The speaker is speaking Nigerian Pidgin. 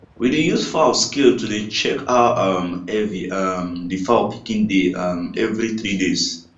we dey use fowl scale to dey check how um heavy um the fowl pikin dey um every three days